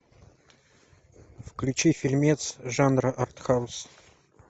включи фильмец жанра артхаус